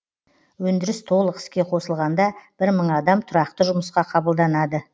өндіріс толық іске қосылғанда бір мың адам тұрақты жұмысқа қабылданады